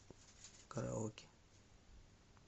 караоке